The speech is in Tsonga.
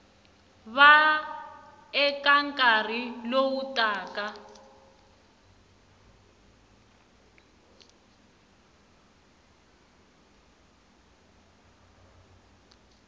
va eka nkarhi lowu taka